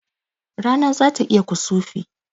Rana zata yi kusufi